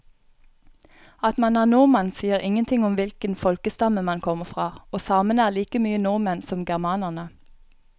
At man er nordmann sier ingenting om hvilken folkestamme man kommer fra, og samene er like mye nordmenn som germanerne.